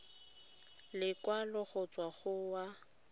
lekwalo go tswa go wa